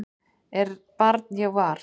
er barn ég var